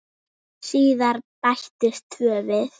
Síðar bættust tvö við.